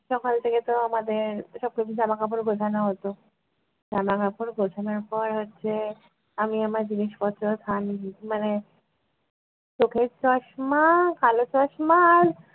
সকাল থেকে তো আমাদের সবকিছু জামাকাপড় গোছানো হতো । জামা কাপড় গোছানোর পর হচ্ছে আমি আমার জিনিসপত্র আর sun মানে চোখের চশমা কালো চশমা আর